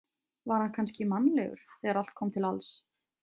Var hann kannski mannlegur þegar allt kom til alls?